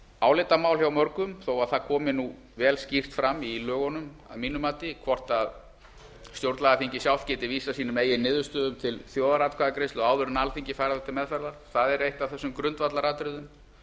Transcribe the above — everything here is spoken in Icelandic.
álitamál hjá mörgum þó það komi nú vel skýrt fram í lögunum að mínu mati hvort stjórnlagaþingið sjálft geti vísað sínum eigin niðurstöðum til þjóðaratkvæðagreiðslu áður en alþingi fær þær til meðferðar það er eitt af þessum grundvallaratriðum